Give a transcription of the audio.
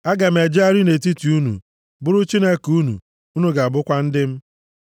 Aga m ejegharị nʼetiti unu, bụrụ Chineke unu, unu ga-abụkwa ndị m.